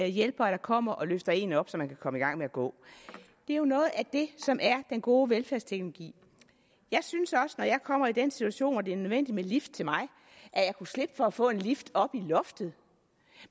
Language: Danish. hjælpere der kommer og løfter en op så man kan komme i gang med at gå det er jo noget af det som er den gode velfærdsteknologi jeg synes også når jeg kommer i den situation hvor det er nødvendigt med en lift til mig at jeg kunne slippe for at få en lift oppe i loftet